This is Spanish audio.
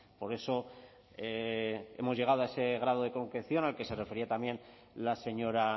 por eso hemos llegado a ese grado de concreción al que se refería también la señora